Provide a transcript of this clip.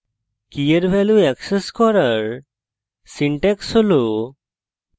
key এর value access করার syntax হল: